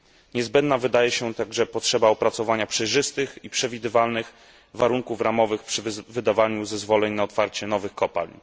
Niezbędna wydaje się także potrzeba opracowania przejrzystych i przewidywalnych warunków ramowych przy wydawaniu zezwoleń na otwarcie nowych kopalń.